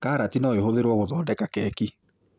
Karati no ĩhũthĩrwo gũthondeka keki